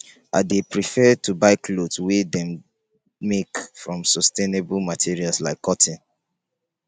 i dey prefer to buy clothes wey dem make from sustainable materials like cotton.